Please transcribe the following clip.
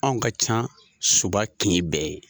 Anw ka ca suba kin bɛɛ ye.